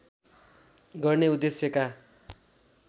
गर्ने उद्देश्यका